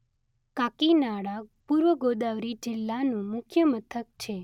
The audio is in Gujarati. કાકીનાડા પૂર્વ ગોદાવરી જિલ્લાનું મુખ્ય મથક છે.